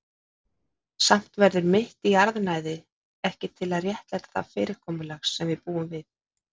Samt verður mitt jarðnæði ekki til að réttlæta það fyrirkomulag sem við búum við.